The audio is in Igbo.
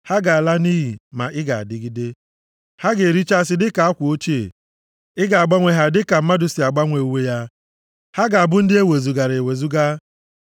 Ha ga-ala nʼiyi, ma ị ga-adịgide; ha ga-erichasị dịka akwa ochie. Ị ga-agbanwe ha dịka mmadụ si agbanwe uwe ya, ha ga-abụ ndị ewezugara ewezuga.